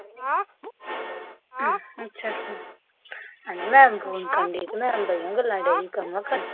ਅੱਛਾ ਅੱਛਾ, ਓਹਨੂੰ ਮੈਂ ਫੋਨ ਕਰਣ ਡੀ ਸੀ, ਓਹਨੂੰ ਮੈਂ ਬੜੀਆਂ ਗੱਲਾਂ ਡੇਈ